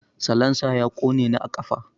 Salansa ya ƙone ni a ƙafa.